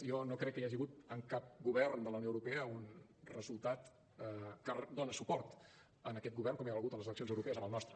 jo no crec que hi hagi hagut en cap govern de la unió europea un resultat que doni suport a aquest govern com hi ha hagut a les eleccions europees amb el nostre